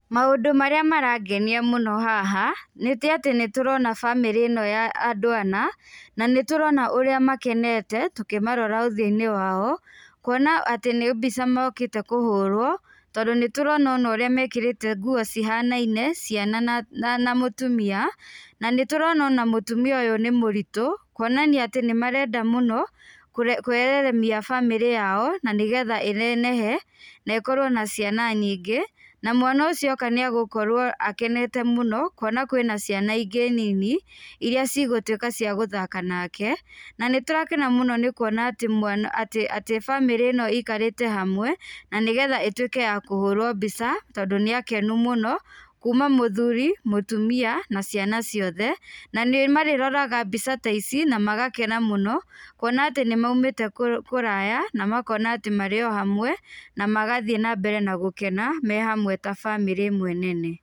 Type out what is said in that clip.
Maũndũ marĩa marangenia mũno haha, nĩ tĩ atĩ nĩ tũrona famĩlĩ ĩno ya andũ ana, na nĩtũrona ũrĩa makenete, tũkĩmarora ũthiũinĩ wao. Kuona atĩ nĩ mbica mokĩte kũhũrũo, tondũ nĩ tũrona ona ũrĩa mekĩrĩte nguo cihanaine ciana, na mũtumia. Na nĩtũrona ona mũtumia ũyũ nĩ mũritũ kuonania atĩ nĩ marenda mũno kwararamia famĩlĩ yao na nĩgetha ĩnenehe na ĩkorũo na ciana nyingĩ, na mwana ũcio oka nĩ egũkorũo akenete mũno kuona kwĩna ciana ingĩ nini iríĩ cigũtuĩka cia gũthaka nake. Na nĩtũrakena mũno nĩ kuona atĩ bamĩrĩ ĩno ĩikarĩte hamwe na nĩgetha ĩtuĩke ya kũhũrũo mbica tondu nĩ akenu mũno, kuuma mũthuri, mũtumia na ciana ciothe. Na nĩ marĩroraga mbica ta ici na magakena mũno kuona atĩ nĩ moimĩte kũraya na makona atĩ marĩo hamwe, na magathiĩ nambere gũkena me hamwe ta bamĩrĩ ĩmwe nene.